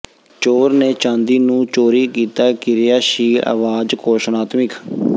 ਚੋਰ ਨੇ ਚਾਂਦੀ ਨੂੰ ਚੋਰੀ ਕੀਤਾ ਕਿਰਿਆਸ਼ੀਲ ਆਵਾਜ਼ ਘੋਸ਼ਣਾਤਮਿਕ